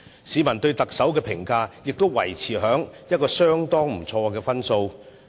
市民對特首的評分亦維持在相當不錯的水平。